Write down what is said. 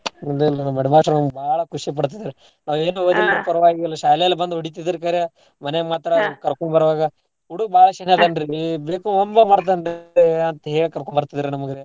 Headmaster ನಮ್ಗ ಬಾಳ್ ಖುಷಿ ಪಡ್ತಿದ್ರು ನಾವು ಏನೂ ಓದಿಲ್ರೀ ಪಾರ್ವಾಗಿಲ್ ಶಾಲೇಲ್ ಬಂದ ಹೊಡಿತಿದ್ರು ಖರೆ ಮನ್ಯಾಗ್ ಮಾತ್ರ ಕರ್ಕೊಂಬರುವಾಗ ಹುಡುಗ್ ಬಾಳ್ ಶಾಣ್ಯ ಅದಾನ್ ರೀ ಬಿಡ್ದೇ homework ಮಾಡ್ತಾನ್ ರೀ ಅಂತೇಳಿ ಕರ್ಕೊಂಡ್ಬರ್ತಿದ್ರಾ ನಮಗ್ ರೀ.